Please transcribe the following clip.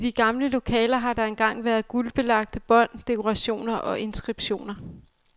I de gamle lokaler har der engang været guldbelagte bånd, dekorationer og inskriptioner.